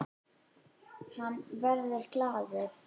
Hann verður glaður.